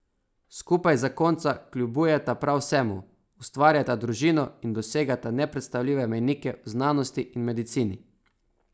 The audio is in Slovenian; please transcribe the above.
Skupaj zakonca kljubujeta prav vsemu, ustvarjata družino in dosegata nepredstavljive mejnike v znanosti in medicini.